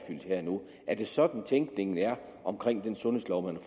her og nu er det sådan tænkningen er omkring den sundhedslov man